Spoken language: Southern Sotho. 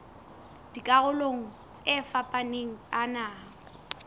dikarolong tse fapaneng tsa naha